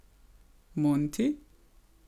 Monti?